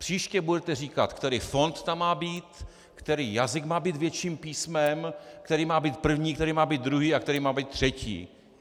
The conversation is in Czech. Příště budete říkat, který fond tam má být, který jazyk má být větším písmem, který má být první, který má být druhý a který má být třetí.